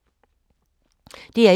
DR1